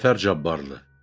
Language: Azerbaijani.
Cəfər Cabbarlı.